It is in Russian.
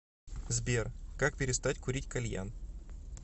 сбер как перестать курить кальян